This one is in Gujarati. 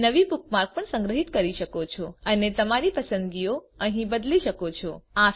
તમે નવી બુકમાર્ક પણ સંગ્રહી શકો છો અને તમારી પસંદગીઓ અહીં બદલી શકો છો